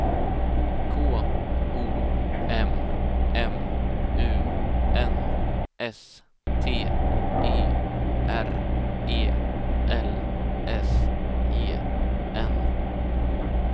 K O M M U N S T Y R E L S E N